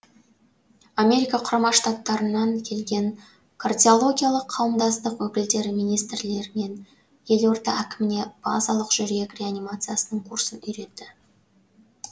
америка құрама штаттарынан келген кардиологиялық қауымдастық өкілдері министрлер мен елорда әкіміне базалық жүрек реанимациясының курсын үйретті